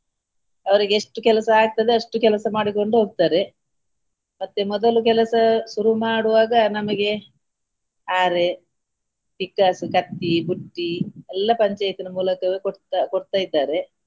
ಅವರಿಗೆ ಎಷ್ಟು ಕೆಲಸ ಆಗ್ತದೆ ಅಷ್ಟು ಕೆಲಸ ಮಾಡಿಕೊಂಡು ಹೋಗ್ತಾರೆ ಮತ್ತೆ ಮೊದಲು ಕೆಲಸ ಶುರು ಮಾಡುವಾಗ ನಮಗೆ ಹಾರೆ ಪಿಕ್ಕಾಸು, ಕತ್ತಿ, ಬುಟ್ಟಿ ಎಲ್ಲಾ ಪಂಚಾಯತಿನ ಮೂಲಕವೇ ಕೊಡ್ತಾ ಕೊಡ್ತಾ ಇದ್ದಾರೆ.